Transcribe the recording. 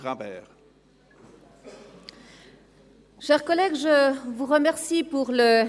Wenn Sie schon zu spät kommen, wäre ich froh, wenn Sie dies wenigstens ruhig tun würden.